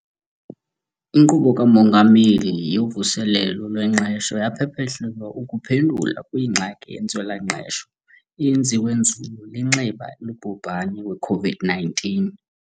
INkqubo kaMongameli yoVuselelo lweNgqesho yaphehlelelwa ukuphendula kwingxaki yentswela-ngqesho eye yenziwa nzulu linxeba lobhubhani we-COVID-19.